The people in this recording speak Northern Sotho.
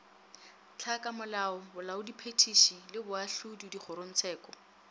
tlhakamolao bolaodiphethiši le boahlodi dikgorotsheko